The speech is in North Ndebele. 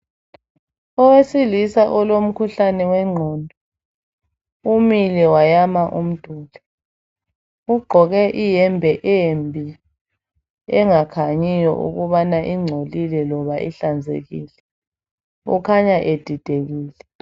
Owesilisa olomkhuhlane weqondo umile wayama umduli. Ugqoke ihembe embi engakhanyoyo ukubana ingcolile kumbe ihlanzekile. Ekhanya edidekile.